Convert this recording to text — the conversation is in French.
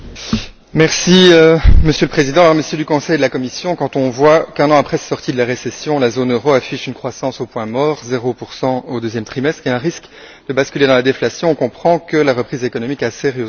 Monsieur le Président, Messieurs du Conseil et de la Commission, lorsqu'on voit qu'un an après sa sortie de la récession, la zone euro affiche une croissance au point mort, 0 au deuxième trimestre, avec un risque de basculer dans la déflation, nous comprenons que la reprise économique a sérieusement du plomb dans l'aile.